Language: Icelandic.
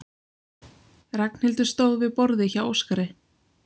Ragnhildur stóð við borðið hjá Óskari.